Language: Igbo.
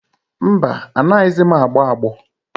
Mba, anaghịzi m agbọ agbọ.